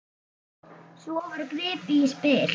Svo var gripið í spil.